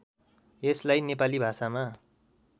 यसलाई नेपाली भाषामा